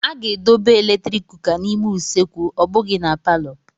A ga-edobe eletrik kuka n'ime usekwu ọ bụghị na palọ.